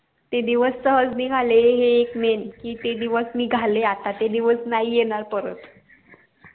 ते दिवस सहज निगाले हे एक main कि ते दिवस निगाले आता ते दिवस नाही येणार परत